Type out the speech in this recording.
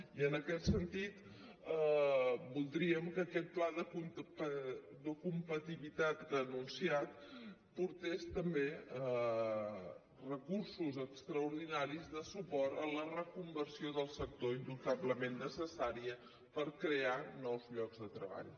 i en aquest sentit voldríem que aquest pla de competitivitat que ha anunciat portés també recursos extraordinaris de suport a la reconversió del sector indubtablement necessària per crear nous llocs de treball